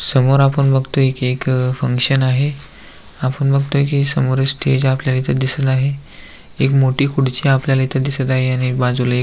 समोर आपण बघतोय की एक फंक्शन आहे आपण बघतोय की समोर हे स्टेज आपल्याला दिसत आहे एक मोठी खुडची आपल्याला इथं दिसत आहे आणि बाजूला एक--